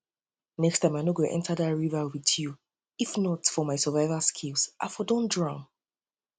next next time i no go enter dat river with you if not for my survival skills i for don drown